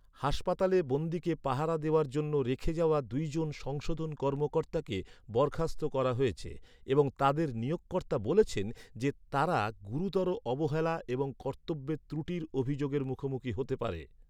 হাসপাতালে বন্দীকে পাহারা দেওয়ার জন্য রেখে যাওয়া দুইজন সংশোধন কর্মকর্তাকে বরখাস্ত করা হয়েছে এবং তাদের নিয়োগকর্তা বলেছেন যে তারা "গুরুতর অবহেলা এবং কর্তব্যের ত্রুটির অভিযোগের মুখোমুখি হতে পারে।"